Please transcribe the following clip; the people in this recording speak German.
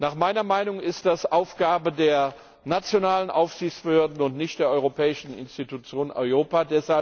Nach meiner Meinung ist das Aufgabe der nationalen Aufsichtsbehörden und nicht der europäischen Institution EIOPA.